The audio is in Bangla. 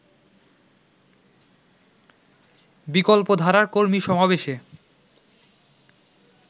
বিকল্পধারার কর্মী সমাবেশে